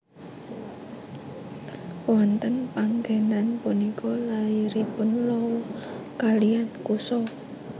Wonten panggenan punika lairipun Lawa kaliyan Kusa